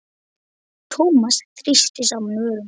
Thomas þrýsti saman vörum.